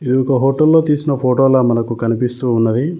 ఇది ఒక హోటల్ లో తీసిన ఫోటోల మనకు కనిపిస్తూ ఉన్నది.